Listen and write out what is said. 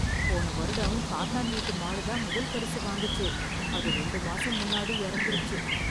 போன வருடம் காத்தான் வீட்டு மாடு தான் முதல்பரிசு வாங்குச்சு. அது ரெண்டு மாசம் முன்னாடி எறந்திருச்சு.